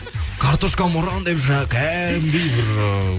картошка мұрын анандай уже кәдімгідей бір ыыы